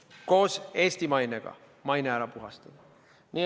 Tuleb koos Eesti mainega oma maine ära puhastada.